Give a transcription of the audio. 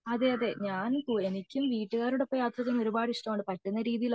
അതെ അതെ ഞാൻ എനിക്കും വീട്ടുകാരുടെ ഒപ്പം യാത്ര ചെയ്യാൻ ഒരുപാട് ഇഷ്ടമാണ് പറ്റുന്ന രീതിയിൽ ഒക്കെ ഞാൻ